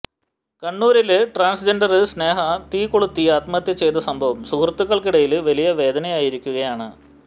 കണ്ണൂരില് ട്രാന്സ്ജെന്ഡര് സ്നേഹ തീകൊളുത്തി ആത്മഹത്യ ചെയ്ത സംഭവം സുഹൃത്തുക്കള്ക്കിടയില് വലിയ വേദനയായിരിക്കുകയാണ്